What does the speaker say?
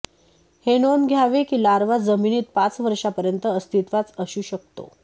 हे नोंद घ्यावे की लार्वा जमिनीत पाच वर्षांपर्यंत अस्तित्वात असू शकतो